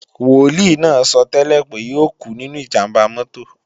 Wòlíì náà sọ́tẹ́lẹ̀ pé yóò kú nínú ìjàmbá mọ́tò